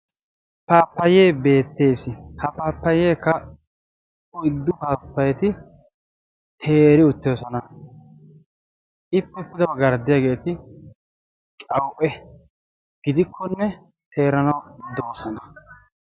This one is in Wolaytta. paappayay beettees. ha paappayaykka oyddu paappayati teeri uttoosona. ippe pude baggaara diyaageeti qawu'e gidikkonne teeranaw de'oosona.